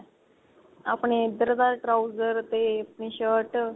ਆਪਣੇ ਇੱਧਰ ਦਾ trouser ਤੇ ਆਪਣੀ shirt